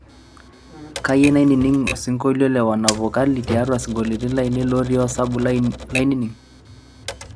kayie naning osiinkolio le wanavokali tiatua sinkolioitin lainei looti osabu lainining